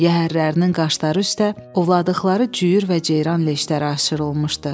Yəhərlərinin qaşları üstə ovladıqları cüyür və ceyran leşləri aşırılmışdı.